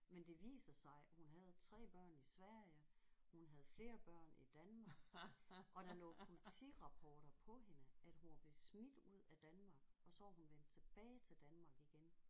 Men det viser sig at hun havde 3 børn i Sverige hun havde flere børn i Danmark og der lå politirapporter på hende at hun var blevet smidt ud af Danmark og så var hun vendt tilbage til Danmark igen